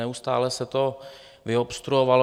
Neustále se to vyobstruovalo.